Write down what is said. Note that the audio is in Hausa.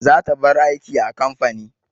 Zata bar aiki a kamfani.